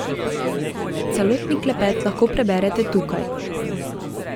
Celotni klepet lahko preberete tukaj.